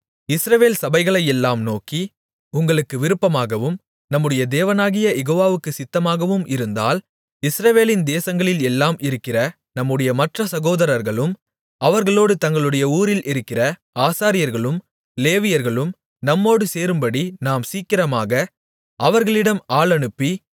இஸ்ரவேல் சபைகளையெல்லாம் நோக்கி உங்களுக்கு விருப்பமாகவும் நம்முடைய தேவனாகிய யெகோவாவுக்கு சித்தமாகவும் இருந்தால் இஸ்ரவேலின் தேசங்களில் எல்லாம் இருக்கிற நம்முடைய மற்ற சகோதரர்களும் அவர்களோடு தங்களுடைய ஊரில் இருக்கிற ஆசாரியர்களும் லேவியர்களும் நம்மோடு சேரும்படி நாம் சீக்கிரமாக அவர்களிடம் ஆள் அனுப்பி